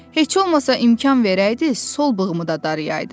Heç olmasa imkan verəydiz, sol bığımı da darayaydım.